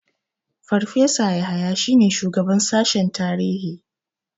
Farfesa Yahaya shine shugaban sashen tarihi.